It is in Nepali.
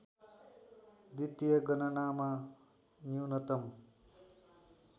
द्वितीय गणनामा न्यूनतम